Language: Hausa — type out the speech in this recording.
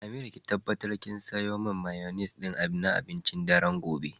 Amira ki tabbatar kin siyo man mayoinesse na abincin daren gobe.